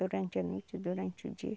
Durante a noite, durante o dia.